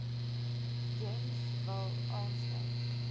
gems wil aansluit